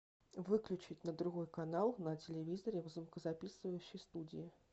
выключить на другой канал на телевизоре в звукозаписывающей студии